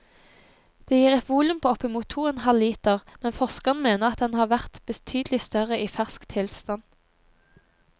Det gir et volum på oppimot to og en halv liter, men forskerne mener den har vært betydelig større i fersk tilstand.